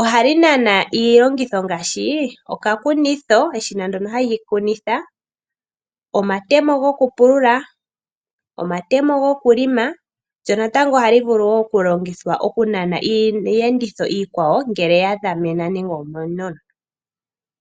Ohali nana iilongitho ngaashi okakunitho eshina ndono hali kunithwa, omatemo gokupulula, omatemo gokuhelela lyo natango ohali vulu okulongithwa oku nana iiyenditho iikwawo ngele ya dhamena nande omenono.